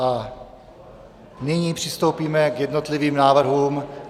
A nyní přistoupíme k jednotlivým návrhům.